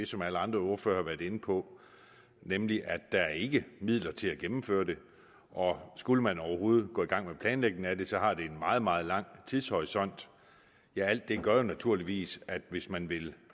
som alle andre ordførere har været inde på nemlig at der ikke er midler til at gennemføre det og skulle man overhovedet gå i gang med planlægningen af det så har det en meget meget lang tidshorisont alt det gør jo naturligvis at hvis man vil